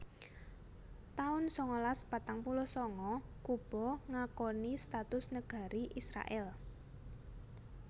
taun sangalas patang puluh sanga Kuba ngakoni status negari Israèl